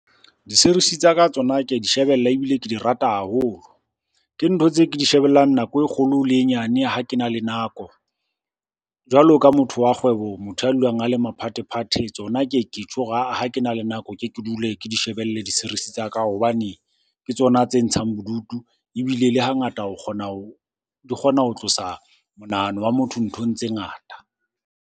Di-series-e tsa ka tsona ke a di shebella ebile ke di rata haholo. Ke ntho tse ke di shebellang nako e kgolo le e nyane ha ke na le nako. Jwalo ka motho wa kgwebo, motho ya dulang a le maphathephathe tsona ke ye ke tjho hore ha-ah ha ke na le nako keke dule ke di shebelle di-series-e tsa ka hobane ke tsona tse ntshang bodutu. Ebile le hangata o kgona ho, di kgona ho tlosa monahano wa motho nthong tse ngata.